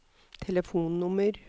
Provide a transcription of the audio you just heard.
telefonnummer